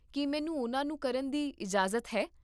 ਕੀ ਮੈਨੂੰ ਉਹਨਾਂ ਨੂੰ ਕਰਨ ਦੀ ਇਜਾਜ਼ਤ ਹੈ?